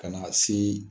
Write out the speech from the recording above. Ka na se